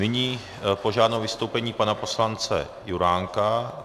Nyní požádám o vystoupení pana poslance Juránka.